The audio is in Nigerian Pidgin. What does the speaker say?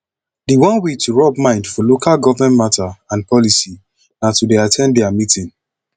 di one wey to rub mind for local government matter and policy na to dey at ten d their meeting